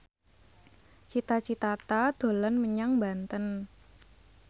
Cita Citata dolan menyang Banten